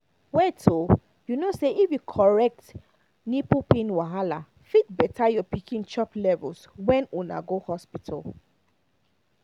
wait oh you know say if you correct nipple pain wahala fit better your pikin chop levels when una go hospital